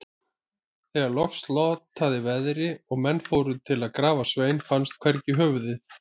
Þegar loks slotaði veðri og menn fóru til að grafa Svein, fannst hvergi höfuðið.